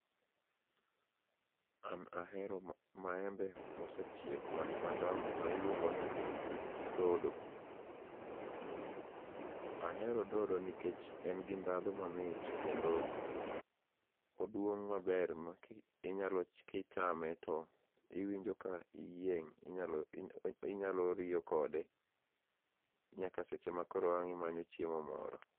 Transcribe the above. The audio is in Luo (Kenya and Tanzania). An ahero maembe ma osechiek madongo ma iluongo ni dodo. Ahero dodo nikech en gi ndhadhu mamit kendo oduong' maber ma inyalo kichame to iwinjo ka iyieng' inyalo riyo kode nyaka seche ma ang' imanyo chiemo moro